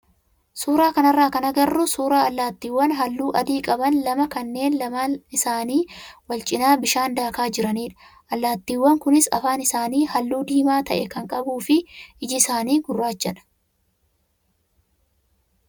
Suuraa kanarraa kan agarru suuraa allaattiiwwan halluu adii qaban lama kanneen lamaan isaanii wal cinaa bishaan daakaa jiranidha. Allaattiiwwan kunis afaan isaanii halluu diimaa ta'e kan qabuu fi iji isaanii gurraachadha.